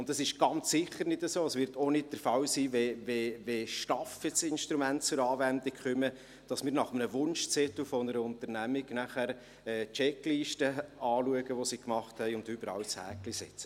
Und es ist ganz sicher nicht so, und es wird auch nicht der Fall sein, wenn STAF-Instrumente zur Anwendung kommen, dass wir nach dem Wunschzettel einer Unternehmung dann Checklisten anschauen, die sie gemacht haben, und überall ein Häkchen setzen.